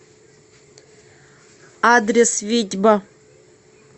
адрес витьба